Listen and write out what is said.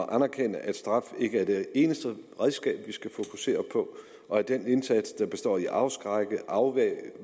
at anerkende at straf ikke er det eneste redskab vi skal fokusere på og at den indsats der består i at afskrække afværge